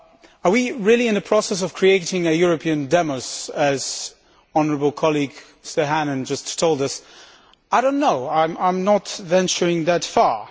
Are we really in a process of creating a European demos as my honourable colleague Mr Hannan just told us? I do not know, I am not venturing that far.